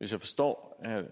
hvis jeg forstår herre